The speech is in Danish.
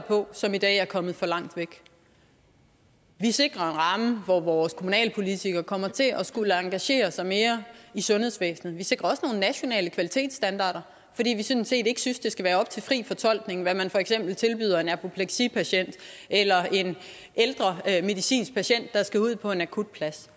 på som i dag er kommet for langt væk vi sikrer en ramme hvor vores kommunalpolitikere kommer til at skulle engagere sig mere i sundhedsvæsnet vi sikrer også nogle nationale kvalitetsstandarder fordi vi sådan set ikke synes det skal være op til fri fortolkning hvad man for eksempel tilbyder en apopleksipatient eller en ældre medicinsk patient der skal ud på en akutplads